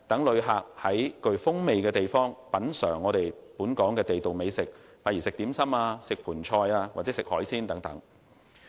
旅客在本港具特色的地區品嘗地道美食，如點心、盆菜和海鮮等，別具風味。